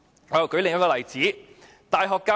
我再舉另一個例子。